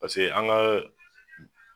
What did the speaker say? Paseke an ga